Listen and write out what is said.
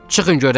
Çıxın görək!